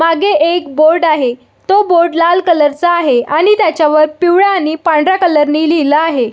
मागे एक बोर्ड आहे तो बोर्ड लाल कलर चा आहे आणि त्याच्या वर पिवळ्या आणि पांढऱ्या कलर नि लिहल आहे.